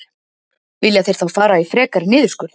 Vilja þeir þá fara í frekari niðurskurð?